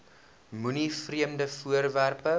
moenie vreemde voorwerpe